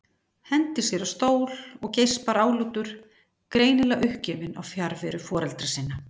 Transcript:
Hendir sér á stól og geispar álútur, greinilega uppgefinn á fjarveru foreldra sinna.